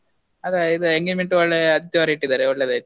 ಅದೇ ಇದ್ engagement ಒಳ್ಳೆ ಆದಿತ್ಯವಾರ ಇಟ್ಟಿದಾರೆ ಒಳ್ಳೇದಾಯ್ತು.